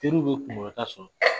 Teriw bɛ kunkɔrɔta sɔrɔ